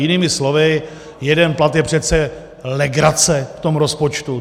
Jinými slovy, jeden plat je přece legrace v tom rozpočtu.